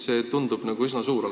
See oht tundub olevat üsna suur.